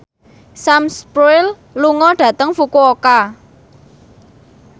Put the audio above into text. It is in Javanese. Sam Spruell lunga dhateng Fukuoka